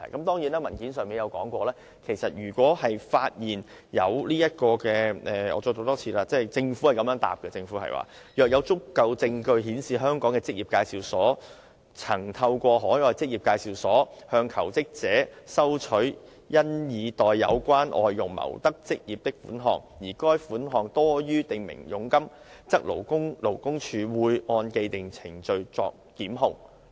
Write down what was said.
當然，正如文件上也列明——我再讀一次政府的答覆——政府表示若有足夠證據顯示香港的職業介紹所曾透過海外職業介紹所向求職者收取因已代有關外傭謀得職業的款項，而該款項多於訂明佣金，則勞工處會按既定程序作檢控。